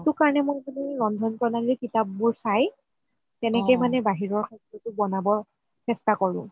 সেইটো কাৰণে মই ৰন্ধন প্ৰণালিৰ কিতাপ বোৰ চাই তেনেকে মানে বাহিৰৰ খাদ্যটো বনাব চেষ্টা কৰো